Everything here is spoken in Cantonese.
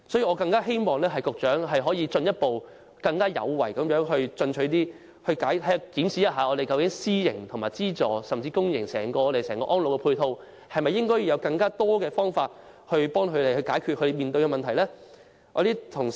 我更希望局長能夠進一步更有為和更進取地檢視私營和資助院舍，甚至是整個公營安老院舍的配套，是否應採取更多方法幫助院舍解決問題呢？